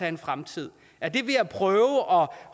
en fremtid er det ved at prøve at